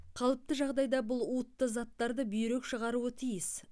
қалыпты жағдайда бұл уытты заттарды бүйрек шығаруы тиіс